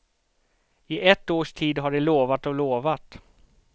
I ett års tid har de lovat och lovat.